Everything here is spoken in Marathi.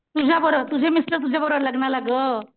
तुझ्याबर तुझे मिस्टर तुझ्याबरोबर लग्नाला ग.